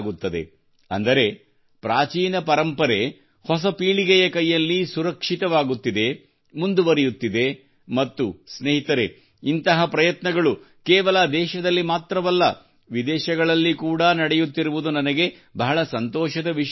ಅಂದರೆ ಪ್ರಾಚೀನ ಪರಂಪರೆ ಹೊಸ ಪೀಳಿಗೆಯ ಕೈಯಲ್ಲಿ ಸುರಕ್ಷಿತವಾಗುತ್ತಿದೆ ಮುಂದುವರಿಯುತ್ತಿದೆ ಮತ್ತು ಸ್ನೇಹಿತರೆ ಇಂತಹ ಪ್ರಯತ್ನಗಳು ಕೇವಲ ದೇಶದಲ್ಲಿ ಮಾತ್ರವಲ್ಲ ವಿದೇಶಗಳಲ್ಲಿ ಕೂಡಾ ನಡೆಯುತ್ತಿರುವುದು ನನಗೆ ಬಹಳ ಸಂತೋಷದ ವಿಷಯವೆನಿಸಿದೆ